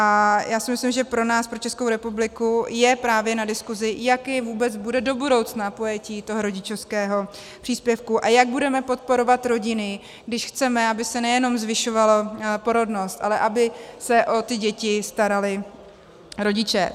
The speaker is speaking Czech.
A já si myslím, že pro nás, pro Českou republiku, je právě na diskusi, jaké vůbec bude do budoucna pojetí toho rodičovského příspěvku a jak budeme podporovat rodiny, když chceme, aby se nejenom zvyšovala porodnost, ale aby se o ty děti starali rodiče.